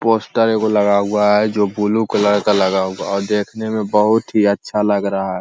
Poster ऐगो लगा हुआ है जो ब्लू कलर का लगा हुआ है और देखने में बहोत ही अच्छा लग रहा है।